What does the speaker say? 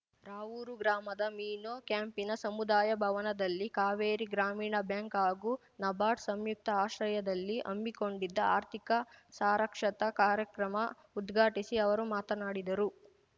ರಾವೂರು ಗ್ರಾಮದ ಮೀನು ಕ್ಯಾಂಪಿನ ಸಮುದಾಯ ಭವನದಲ್ಲಿ ಕಾವೇರಿ ಗ್ರಾಮೀಣ ಬ್ಯಾಂಕ್‌ ಹಾಗೂ ನಬಾರ್ಡ್‌ ಸಂಯುಕ್ತ ಆಶ್ರಯದಲ್ಲಿ ಹಮ್ಮಿಕೊಂಡಿದ್ದ ಆರ್ಥಿಕ ಸಾರಕ್ಷತಾ ಕಾರ್ಯಕ್ರಮ ಉದ್ಘಾಟಿಸಿ ಅವರು ಮಾತನಾಡಿದರು